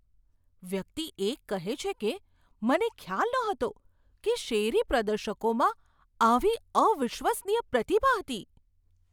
વ્યક્તિ એક કહે છે કે, મને ખ્યાલ નહોતો કે શેરી પ્રદર્શકોમાં આવી અવિશ્વસનીય પ્રતિભા હતી.